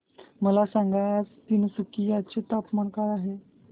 मला सांगा आज तिनसुकिया चे तापमान काय आहे